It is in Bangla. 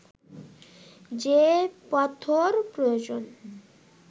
যে পাথর প্রয়োজন